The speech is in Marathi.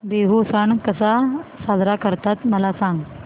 बिहू सण कसा साजरा करतात मला सांग